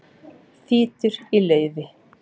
Þýtur í laufi